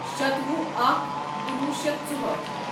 شتوُہ اکھ کُنوُہ شیتھ ژُہأٹھ